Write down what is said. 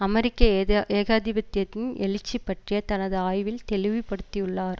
அமெரிக்க ஏகாதிபத்தியத்தின் எழுச்சி பற்றிய தனது ஆய்வில் தெளிவு படுத்தியுள்ளார்